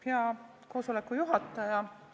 Hea koosoleku juhataja!